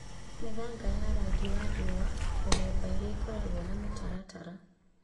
Mĩthaiga ya rangi wa riũa (mĩthemba ĩrĩa ĩkoragwo na mĩtaratara)